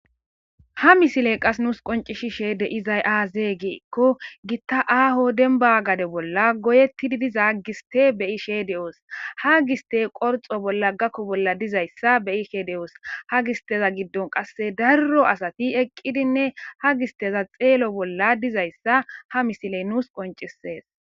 Ha misiley qas nuus qoncishishee de izay aaze giikko gitta aaho denba gade bolla goyettidi diza giste beyi she de7oos ha giste qorxo bolla gakko bolla dizayssa beyi she de7oos ha gisteza giddon qasse darro asati eqqidinne ha gisteza xeelo bolla dizayssa ha misiley nuus qoncisees.